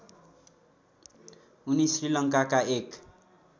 उनि श्रीलङ्काका एक